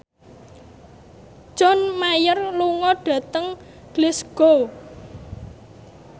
John Mayer lunga dhateng Glasgow